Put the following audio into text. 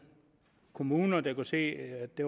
kommuner der kunne se at det